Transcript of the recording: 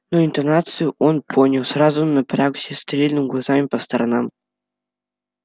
но интонацию он понял сразу напрягся стрельнул глазами по сторонам